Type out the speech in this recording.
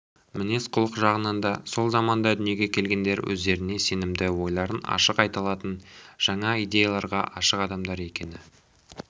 мінез-құлық жағынан да сол заманда дүниеге келгендер өздеріне сенімді ойларын ашық айта алатын жаңа идеяларға ашық адамдар екені